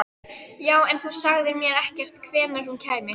Já, en þú sagðir mér ekkert hvenær hún kæmi.